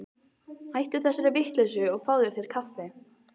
Hættu þessari vitleysu og fáðu þér kaffi.